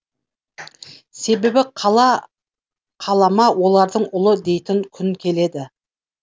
себебі қала қалама оларды ұлы дейтін күн келеді